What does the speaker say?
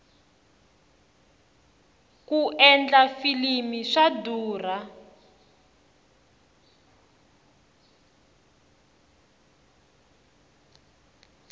ku endla filimi swa durha